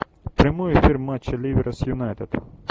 прямой эфир матча ливера с юнайтед